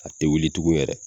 A te wuli tuguw yɛrɛ